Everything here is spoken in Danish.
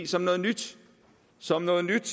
som noget nyt som noget nyt